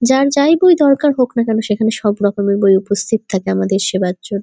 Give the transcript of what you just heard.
যার যাই বই দরকার হোক না কেন সেখানে সব রকমের বই উপস্থিত থাকে আমাদের এখানে।